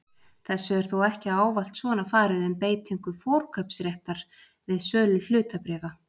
Þessu er þó ekki ávallt svona farið um beitingu forkaupsréttar við sölu hlutabréfa.